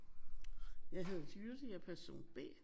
Jeg hedder Jytte. Jeg er person B